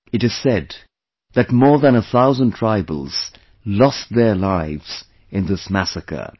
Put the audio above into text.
It is said that more than a thousand tribals lost their lives in this massacre